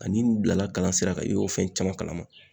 Ani n bilala kalan sira kan i y'o fɛn caman kalama